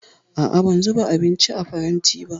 A'a, ban zuba abinci a faranti ba